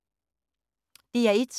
DR1